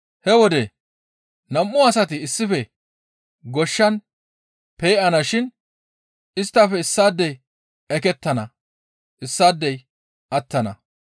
«He wode nam7u asati issife goshshan pe7ana shin isttafe issaadey ekettana; issaadey attana.